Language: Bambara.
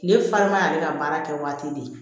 Kile farima y'ale ka baara kɛ waati de